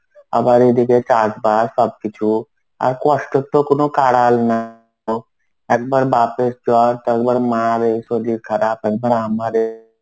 আবার এদিকে চাষবাস সবকিছু. আর কষ্টর তো কোন কাড়াল না. একবার বাপের জ্বর একবার মা রে শরীর খারাপ, একবার আমারে